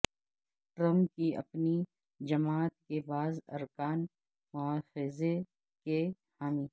Trump کی اپنی جماعت کے بعض ارکان مواخذے کے حامی